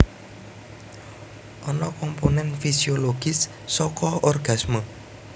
Ana komponen fisiologis saka orgasme